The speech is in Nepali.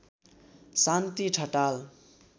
शान्ति ठटाल